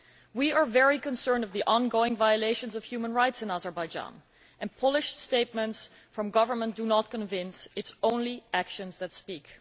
We are very concerned at the ongoing violations of human rights in Azerbaijan, and polished statements from the government do not convince. It is only actions that speak.